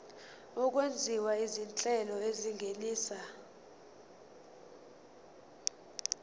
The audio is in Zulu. okwenziwa izinhlelo ezingenisa